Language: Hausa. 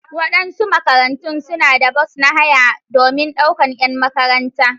Waɗansu makarantu suna da bas na haya domin daukar 'yan makaranta.